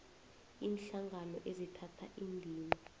iinhlangano ezithatha indima